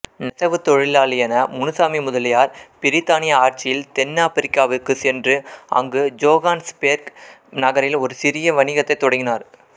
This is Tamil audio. நெசவுத் தொழிலாளியான முனுசாமி முதலியார் பிரித்தானிய ஆட்சியில் தென்னாப்பிரிக்காவுக்குச் சென்று அங்கு ஜோகானஸ்பேர்க் நகரில் ஒரு சிறிய வணிகத்தைத் தொடங்கினார்